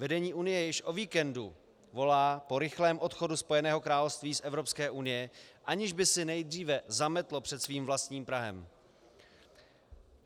Vedení Unie již o víkendu volá po rychlém odchodu Spojeného království z Evropské unie, aniž by si nejdříve zametlo před svým vlastním prahem.